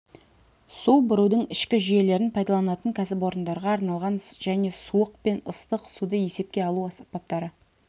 су бұрудың ішкі жүйелерін пайдаланатын кәсіпорындарға арналған және суық пен ыстық суды есепке алу аспаптары